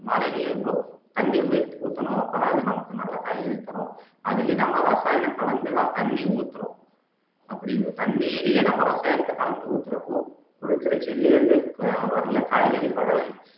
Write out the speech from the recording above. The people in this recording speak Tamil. மாலைலயும் தண்ணி ஊத்தணும் அப்பதான் அது நல்ல காய்கறி தரும் அதுலயும் நம்ம ரசாயனம் கலந்துதான் தண்ணி ஊத்துறோம் அப்படி தண்ணியையே நம்ம ரசாயனத்தை கலந்து ஊத்துறப்போ குடுக்குற செடியிலருந்து வர்ற காய்கறி பழவகைகள்